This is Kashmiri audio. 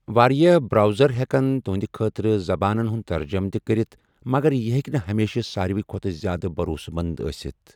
واریاہ براؤزر ہیکَن تُہنٛدِ خٲطرٕ زَبانَن ہُنٛد ترجُمہٕ تہِ کٔرِتھ مگر یہِ ہیکہِ نہٕ ہمیشہِ ساروی کھوتہٕ زیادٕ بَروسہٕ مَنٛد آسِتھ ۔